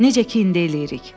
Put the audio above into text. Necə ki indi eləyirik.